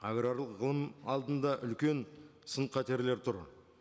агралық ғылым алдында үлкен сын қатерлер тұр